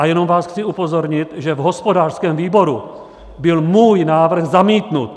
A jenom vás chci upozornit, že v hospodářském výboru byl můj návrh zamítnut.